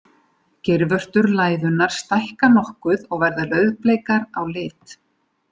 Geirvörtur læðunnar stækka nokkuð og verða rauðbleikar á lit.